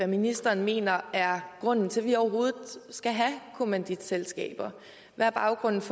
ministeren mener er grunden til at vi overhovedet skal have kommanditselskaber hvad er baggrunden for